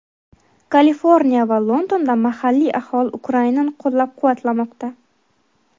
Kaliforniya va Londonda mahalliy aholi Ukrainani qo‘llab-quvvatlamoqda.